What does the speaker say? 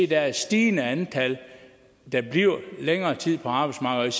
der er et stigende antal der bliver længere tid på arbejdsmarkedet